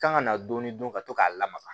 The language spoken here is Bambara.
Kan ka na dɔɔni dun ka to k'a lamaga